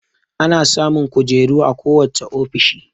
Ana samun kojeru a ko wacce ofishi